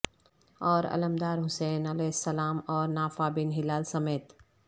اور علمدار حسین علیہ السلام اور نافع بن ہلال سمیت